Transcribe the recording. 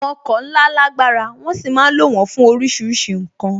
Àwọn ọkọ̀ ńlá lágbára, wón sì ma ń lo wón fún oríṣiríṣi ǹkan